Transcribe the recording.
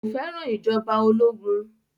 Kò fẹ́ràn ìjọba ológun